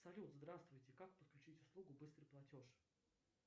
салют здравствуйте как подключить услугу быстрый платеж